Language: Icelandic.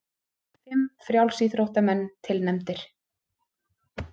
Fimm frjálsíþróttamenn tilnefndir